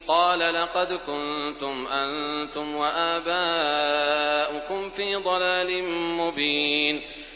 قَالَ لَقَدْ كُنتُمْ أَنتُمْ وَآبَاؤُكُمْ فِي ضَلَالٍ مُّبِينٍ